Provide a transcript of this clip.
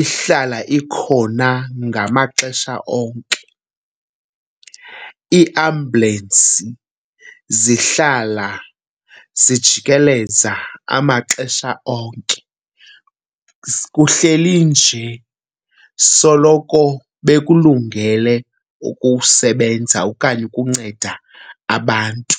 ihlala ikhona ngamaxesha onke, iiambulensi zihlala zijikeleza amaxesha onke. Kuhleli nje soloko bekulungele ukusebenza okanye ukunceda abantu.